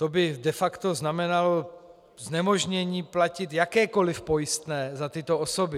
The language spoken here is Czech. To by de facto znamenalo znemožnění platit jakékoliv pojistné za tyto osoby.